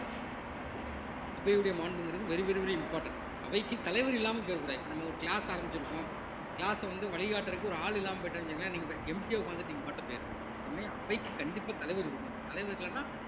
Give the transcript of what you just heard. அவையுடைய மாண்புங்கிறது very very very important அவைக்கு தலைவர் இல்லாமல் போயிடக்கூடாது இப்ப நம்ம ஒரு class ஆரம்பிச்சிருக்கோம் class அ வந்து வழிகாட்டுறதுக்கு ஒரு ஆள் இல்லாம போயிட்டாருன்னு வச்சுக்கோங்களேன நீங்க empty ஆ உட்கார்ந்துட்டு நீங்க பாட்டுக்கு போயிருவீங்க அது மாரி அவைக்கு கண்டிப்பா தலைவர் இருக்கணும் தலைவர் இல்லன்னா